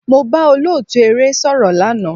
Mo bá olóòtú eré sọ̀rọ̀ lánàá.